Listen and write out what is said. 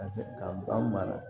Ka se ka ba mara